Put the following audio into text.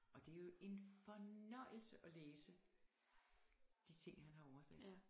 Og det jo en fornøjelse at læse de ting han har oversat